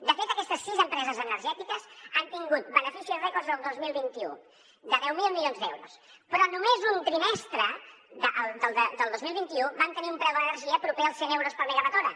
de fet aquestes sis empreses energètiques han tingut beneficis rècord el dos mil vint u de deu mil milions d’euros però només un trimestre del dos mil vint u vam tenir un preu de l’energia proper als cent euros per megawatt hora